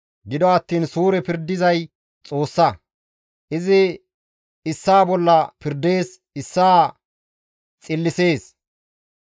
Gido attiin suure pirdizay Xoossa; izi issaa bolla pirdees; issaa xillisees.